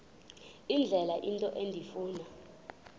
indlela into endifuna